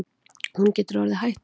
Hún getur orðið hættuleg.